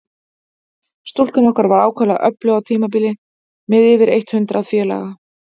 Stúkan okkar var ákaflega öflug á tímabili, með yfir eitt hundrað félaga.